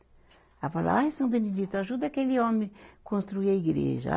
Ela falava, ai, São Benedito, ajuda aquele homem construir a igreja.